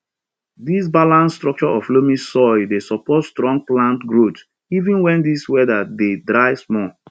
di balanced structure of loamy soil dey support strong plant growth even when di weather dey dry small